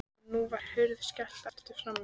Og nú var hurð skellt aftur frammi.